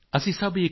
सभ का एकौ सिरजनहार